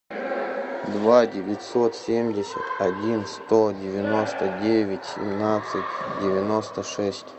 два девятьсот семьдесят один сто девяносто девять семнадцать девяносто шесть